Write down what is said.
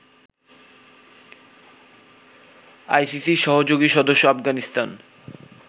আইসিসির সহযোগী সদস্য আফগানিস্তান